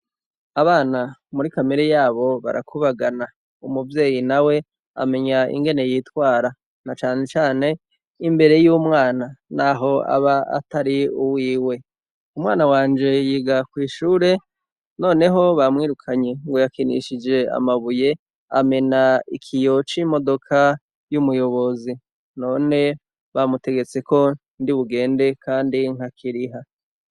Abana muri kamere yabo barakubagana umuvyeyi na we amenya ingene yitwara na canecane imbere y'umwana, naho aba atari uwiwe umwana wanje yiga kw'ishure, noneho bamwirukanye ngo yakinishije amabuye amena ikiyo ´imodoka y'umuyobozi none bamutegetse ko ndi bugende, kandi nka kiriha.